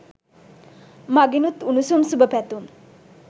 මගෙනුත් උණුසුම් සුභපැතුම්.